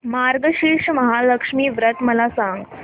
मार्गशीर्ष महालक्ष्मी व्रत मला सांग